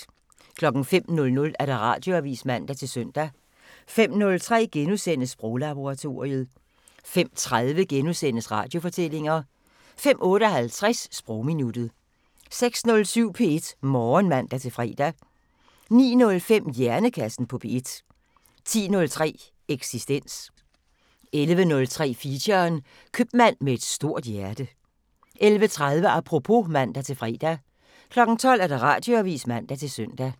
05:00: Radioavisen (man-søn) 05:03: Sproglaboratoriet * 05:30: Radiofortællinger * 05:58: Sprogminuttet 06:07: P1 Morgen (man-fre) 09:05: Hjernekassen på P1 10:03: Eksistens 11:03: Feature: Købmand med et stort hjerte 11:30: Apropos (man-fre) 12:00: Radioavisen (man-søn)